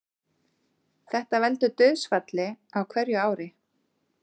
Þetta veldur dauðsfalli á hverju ári